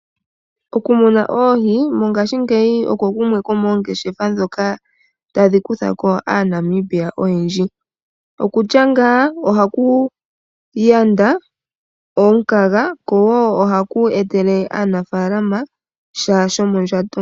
Okumuna oohi mongashingeyi oko kumwe komongeshefa ndhoka tadhi kuthako aNamibia oyendji. Okutya ngaa ohaku yanda omukaga kowo ohaku etele aanafalama sha sho mondjato.